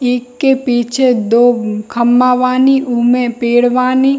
एक के पीछे दो खम्बा बानी उमे पेड़ बानी।